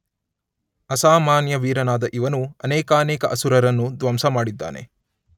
ಅಸಾಮಾನ್ಯ ವೀರನಾದ ಇವನು ಅನೇಕಾನೇಕ ಅಸುರರನ್ನು ಧ್ವಂಸಮಾಡಿದ್ದಾನೆ.